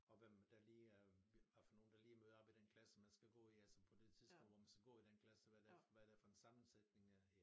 Og hvem der lige er hvad for nogen der lige møder op i den klasse man skal gå i altså på det tidspunkt hvor man skal gå i den klasse altså hvad det er hvad det er for en sammensætning ja